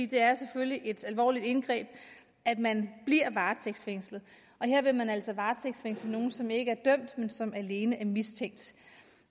det er selvfølgelig et alvorligt indgreb at man bliver varetægtsfængslet og her vil man altså varetægtsfængsle nogle som ikke er dømt men som alene er mistænkt